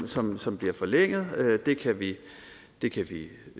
som som bliver forlænget det kan vi